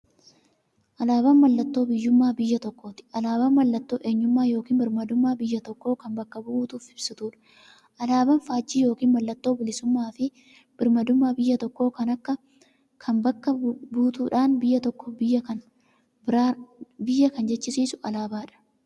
Alaaban mallattoo biyyuummaa biyya tokkooti. Alaabaan mallattoo eenyummaa yookiin birmaadummaa biyya tokkoo kan bakka buutuuf ibsituudha. Alaaban faajjii yookiin maallattoo bilisuummaafi birmaadummaa biyya tokkoo kan bakka buutuudha. Biyya tokko biyya kan jechisisuu alaabadha.